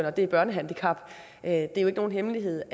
og det er børnehandicap det er jo ikke nogen hemmelighed